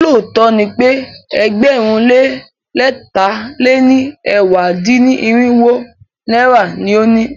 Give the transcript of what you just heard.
Ṣé lóòtó ni pe ẹgbẹ̀rún lé lẹ̀ta lé ní ẹ̀wá dín-ní-irinwó náírà ni o ní?